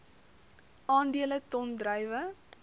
aandele ton druiwe